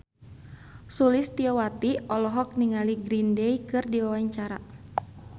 Sulistyowati olohok ningali Green Day keur diwawancara